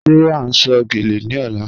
Ṣé à n sọ̀ gẹ́lẹ̀ ní ọ̀là?